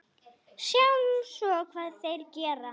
Sjáum svo hvað þeir gera.